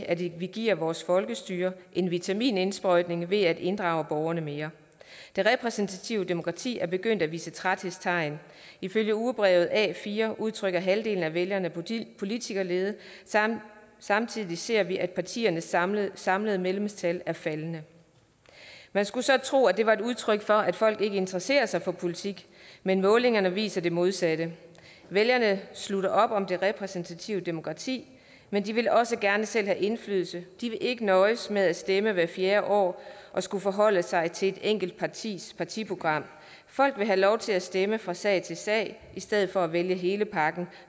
at vi giver vores folkestyre en vitaminindsprøjtning ved at inddrage borgerne mere det repræsentative demokrati er begyndt at vise træthedstegn ifølge ugebrevet a4 udtrykker halvdelen af vælgerne politikerlede samtidig ser vi at partiernes samlede samlede medlemstal er faldende man skulle så tro at det var udtryk for at folk ikke interesserer sig for politik men målingerne viser det modsatte vælgerne slutter op om det repræsentative demokrati men de vil også gerne selv have indflydelse de vil ikke nøjes med at stemme hvert fjerde år og skulle forholde sig til et enkelt partis partiprogram folk vil have lov til at stemme fra sag til sag i stedet for at vælge hele pakken